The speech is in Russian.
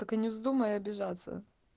только не вздумай обижаться